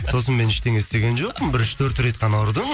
сосын мен ештеңе істеген жоқпын бір үш төрт рет қана ұрдым